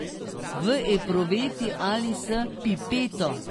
V epruveti ali s pipeto?